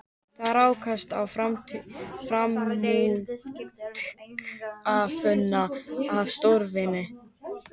Þar rákumst við á frumútgáfuna af stórvirki